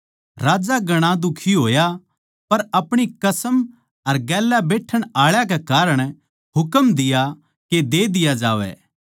राजा घणा दुखी होया पर अपणी कसम अर गेल्या बैठण आळा कै कारण हुकम दिया के दे दिया जावै